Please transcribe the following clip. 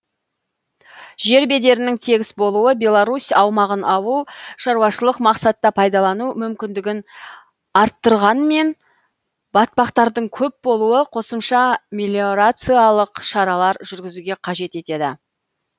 жер бедерінің тегіс болуы беларусь аумағын ауыл шаруашылық мақсатта пайдалану мүмкіндігін арттырғанмен батпақтардың көп болуы қосымша мелиорациялық шаралар жүргізуге қажет етеді